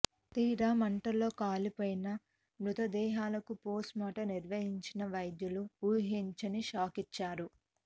తీరా మంటల్లో కాలిపోయిన మృతదేహాలకు పోస్టుమార్టం నిర్వహించిన వైద్యులు ఊహించని షాకిచ్చారు